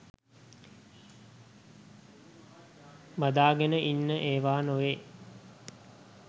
බදා ගෙන ඉන්න ඒවා නොවෙයි.